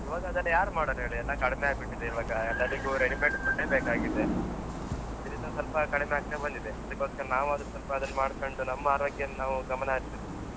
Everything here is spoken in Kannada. ಈವಾಗ ಅದ್ ಯಾರು ಮಾಡೋರು ಹೇಳಿ, ಎಲ್ಲ ಕಡಿಮೆ ಆಗ್ಬಿಟ್ಟಿದೆ ಈವಾಗ ಎಲ್ಲರಿಗೂ ready made food ಯೆ ಬೇಕಾಗಿದೆ, ಇದ್ರಿಂದ ಸ್ವಲ್ಪ ಕಡಿಮೆ ಆಗ್ತಾ ಬಂದಿದೆ. ಅದಿಕೊಸ್ಕರ ನಾವಾದ್ರು ಸ್ವಲ್ಪ ಅದನ್ನ ಮಾಡ್ಕೊಂಡು ನಮ್ಮ ಆರೋಗ್ಯವನ್ನ ನಾವು ಗಮನ ಹರಿಸ್ಬೇಕು.